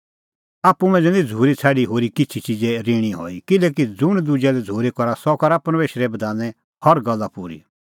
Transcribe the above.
आप्पू मांझ़ै निं झ़ूरी छ़ाडी होरी किछ़ी च़िज़े ऋणी हई किल्हैकि ज़ुंण दुजै लै झ़ूरी करा सह करा परमेशरे बधाने हर गल्ला पूरी